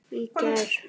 Í gær.